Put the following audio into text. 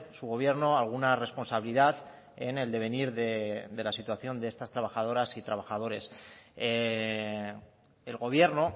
su gobierno alguna responsabilidad en el devenir de la situación de estas trabajadoras y trabajadores el gobierno